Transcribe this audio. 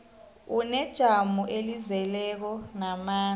unejamo elizeleko namandla